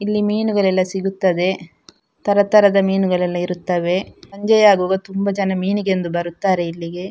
ಇಲ್ಲಿ ಮೀನುಗಳೆಲ್ಲ ಸಿಗುತ್ತದೆ ತರ ತರದ ಮೀನುಗಳೆಲ್ಲ ಇರುತ್ತವೆ ಸಂಜೆಯಾಗುವಾಗ ತುಂಬ ಜನ ಮೀನಿಗೆಂದು ಬರುತ್ತಾರೆ ಇಲ್ಲಿಗೆ --